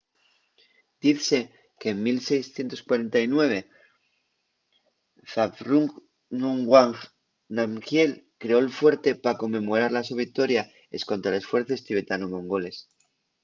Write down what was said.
dizse qu'en 1649 zhabdrung ngawang namgyel creó'l fuerte pa conmemorar la so victoria escontra les fuerces tibetano-mongoles